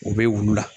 U bɛ wulu la